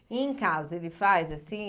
E em casa, ele faz assim?